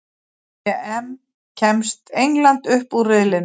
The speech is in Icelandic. EM: Kemst England upp úr riðlinum?